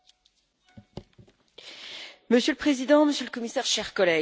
Monsieur le Président, Monsieur le Commissaire, chers collègues, le constat est partagé.